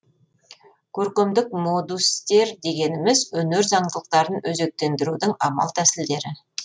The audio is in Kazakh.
көркемдік модустер дегеніміз өнер заңдылықтарын өзектендірудің амал тәсілдері